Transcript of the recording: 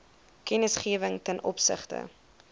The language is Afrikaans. kennisgewing ten opsigte